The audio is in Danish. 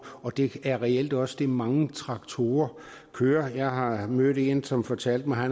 og det er reelt også det mange traktorer kører jeg har mødt en som fortalte mig at